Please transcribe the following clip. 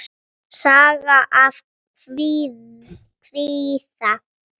Saga af kvíða.